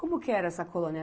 Como que era essa colônia?